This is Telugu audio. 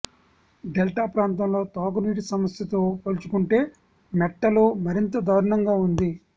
డెల్టా ప్రాంతంలో తాగునీటి సమస్యతో పోల్చుకుంటే మెట్టలో మరింత దారుణంగా ఉంది